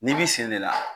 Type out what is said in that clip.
N'i b'i sen de la